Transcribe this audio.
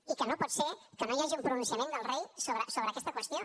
i que no pot ser que no hi hagi un pronunciament del rei sobre aquesta qüestió